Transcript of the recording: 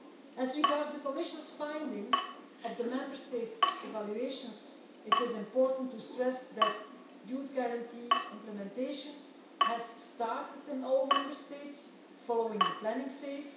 As regards the Commission's findings on the Member States' evaluations, it is important to stress that Youth Guarantee implementation has started in all Member States following the planning phase.